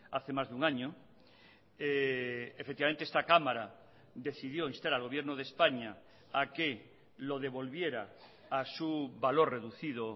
hace más de un año efectivamente esta cámara decidió instar al gobierno de españa a que lo devolviera a su valor reducido